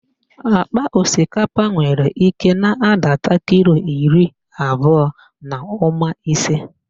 Akpa osikapa nwere nke na-adata kilo iri abụọ na ụma ise.